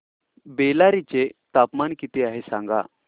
बेल्लारी चे तापमान किती आहे सांगा